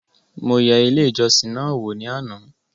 Mo yẹ ilé ìjọsìn náà wò ní àná